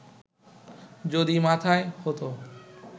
যদি মাথায় হতো